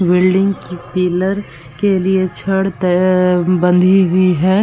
Building की pillar के लिए छड़ ते बंधी हुई है।